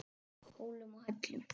Hólum og hellum.